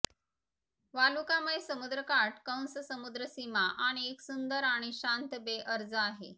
वालुकामय समुद्रकाठ कंस समुद्र सीमा आणि एक सुंदर आणि शांत बे अर्ज आहे